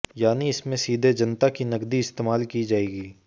यानी इसमें सीधे जनता की नकदी इस्तेमाल की जाएगी